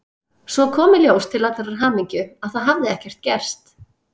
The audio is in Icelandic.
Svo kom í ljós til allrar hamingju að það hafði ekkert gerst.